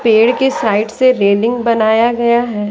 पेड़ के साइड से रेलिंग बनाया गया है।